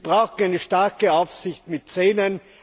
Wir brauchen eine starke Aufsicht mit Zähnen.